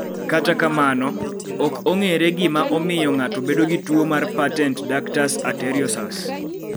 Kata kamano, ok ong�ere gima omiyo ng�ato bedo gi tuo mar patent ductus arteriosus.